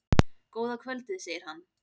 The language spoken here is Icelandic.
Góða kvöldið, segir hann.